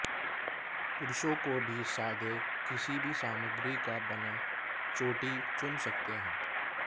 पुरुषों को भी सादे किसी भी सामग्री का बना चोटी चुन सकते हैं